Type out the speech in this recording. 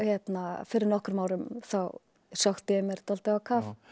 fyrir nokkrum árum þá sökkti ég mér dálítið á kaf